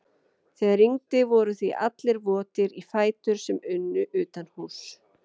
Þegar rigndi voru því allir votir í fætur sem unnu utanhúss.